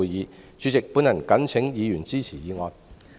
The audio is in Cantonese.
代理主席，我謹請議員支持議案。